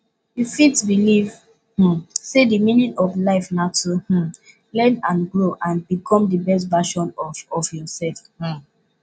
you fit believe um say di meaning of life na to um learn and grow and become di best version of of yourself um